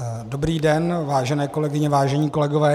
Dobrý den, vážené kolegyně, vážení kolegové.